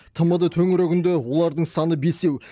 тмд төңірегінде олардың саны бесеу